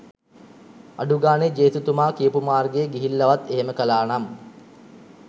අඩුගානේ ජේසුතුමා කියපු මාර්ගයේ ගිහිල්ලවත් එහෙම කරානම්